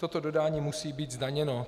Toto dodání musí být zdaněno.